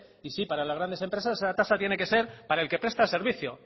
y sí para las grandes empresas esa tasa tiene que ser para el que presta servicio